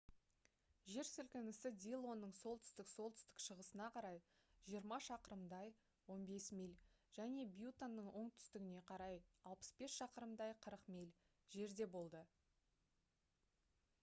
жер сілкінісі диллонның солтүстік-солтүстік-шығысына қарай 20 шақырымдай 15 миль және бьюттаның оңтүстігіне қарай 65 шақырымдай 40 миль жерде болды